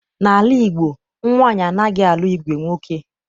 N'ala Igbo, nwaanyị anaghị alụ ìgwè nwoke.